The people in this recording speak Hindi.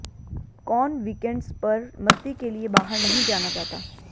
कौन वीकेंड्स पर मस्ती के लिए बाहर नहीं जाना चाहता